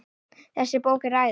Þessi bók er æði.